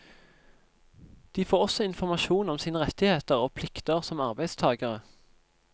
De får også informasjon om sine rettigheter og plikter som arbeidstagere.